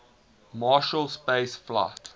marshall space flight